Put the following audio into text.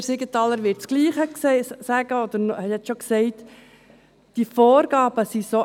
Peter Siegenthaler wird das Gleiche sagen, oder er hat es schon gesagt.